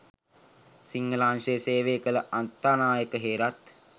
සිංහල අංශයේ සේවය කළ අත්තනායක හේරත්